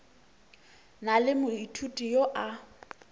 na le moithuti yo a